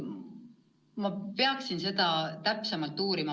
Ma peaksin seda täpsemalt uurima.